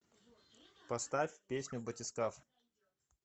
поставь песню батискаф